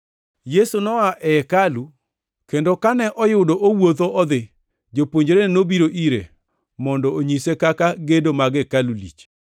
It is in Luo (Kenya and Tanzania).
Yesu noa e hekalu, kendo kane oyudo owuotho odhi, jopuonjrene nobiro ire mondo onyise kaka gedo mag hekalu lich.